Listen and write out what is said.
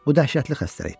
Bu dəhşətli xəstəlikdir.